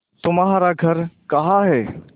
तुम्हारा घर कहाँ है